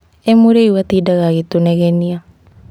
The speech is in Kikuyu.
emũriu atindaga agĩtũnegenia